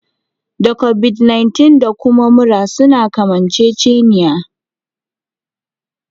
Da Kobid 19 da kuma mura suna kamanceceniya